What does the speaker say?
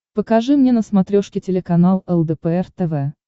покажи мне на смотрешке телеканал лдпр тв